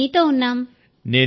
మేం మీతో ఉన్నాం